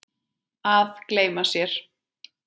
Að gleyma sér